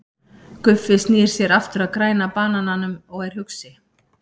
Guffi snýr sér aftur að Græna banananum og er hugsi.